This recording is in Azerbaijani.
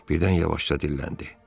Birdən yavaşca dilləndi.